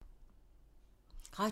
Radio 4